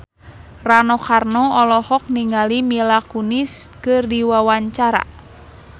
Rano Karno olohok ningali Mila Kunis keur diwawancara